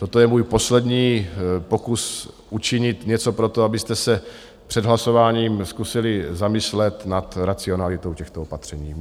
Toto je můj poslední pokus učinit něco pro to, abyste se před hlasováním zkusili zamyslet nad racionalitou těchto opatření.